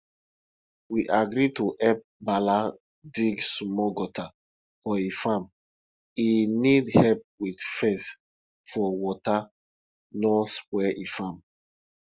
we agree to help bala dig small gutter for e farm e need help with fence for water no spoil e farm